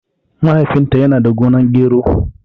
Mahaifin ta yana da gonar gero